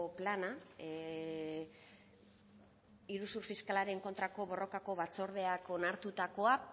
plana iruzur fiskalaren kontrako borrokako batzordeak onartutakoa